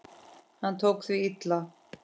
Hún tók því illa.